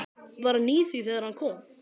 Var hann í því þegar hann kom?